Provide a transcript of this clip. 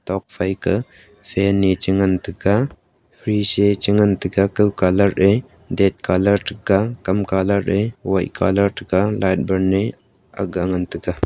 tokphai ka fan ne chi ngan taga frieze ee chi ngantaga kau colour eh ded colour thaga kam colour eh white colour thaga light burn eh akga ngantaga.